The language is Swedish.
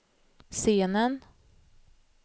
scenen